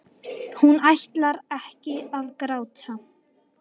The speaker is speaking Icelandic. Hún ætlar ekki að gráta.